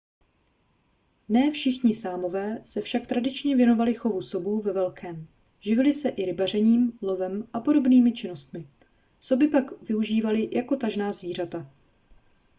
ne všichni sámové se však tradičně věnovali chovu sobů ve velkém živili se i rybařením lovem a podobnými činnostmi soby pak využívali jen jako tažná zvířata